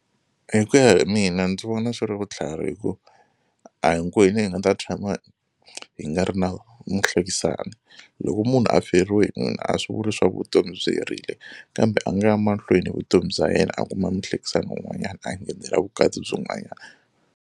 Hi ku ya hi mina ndzi vona swi ri vutlhari hi ku a hinkwenu hi nga ta tshama hi nga ri na muhlekisani loko munhu a feriwe hi nuna a swi vuli swa ku vutomi byi herile kambe a nga ya mahlweni vutomi bya yena a kuma muhlekisani un'wanyana a nghenela vukati byin'wanyana.